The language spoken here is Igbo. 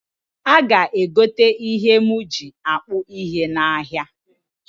A ga egote ihe m ji akpụ ihe n'ahịa